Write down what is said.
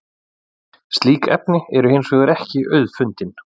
Slík efni eru hins vegar ekki auðfundin.